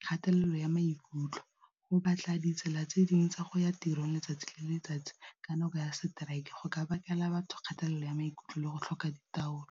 kgatelelo ya maikutlo go batla ditsela tse dingwe tsa go ya tiro letsatsi le letsatsi ka nako ya strike go ka bakela batho kgatelelo ya maikutlo le go tlhoka ditaolelo.